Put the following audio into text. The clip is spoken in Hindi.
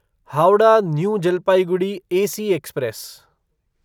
Howrah new Jalpaiguri AC express